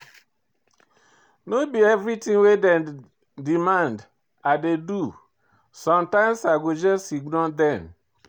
No be everytin wey dem demand I dey do, sometimes I go just ignore dem